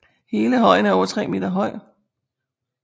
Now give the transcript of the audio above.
Hele højen er over 3 meter høj